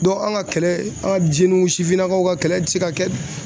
an ka kɛlɛ an sifinnakaw ka kɛlɛ tɛ se ka kɛ